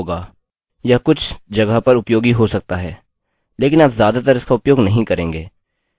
यह कुछ जगह पर उपयोगी हो सकता है लेकिन आप ज़्यादातर इसका उपयोग नहीं करेंगे